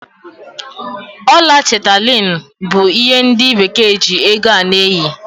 Ọla chetalinu bụ ihe ndị Bekee ji ego a na-eyi.